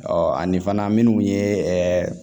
ani fana minnu ye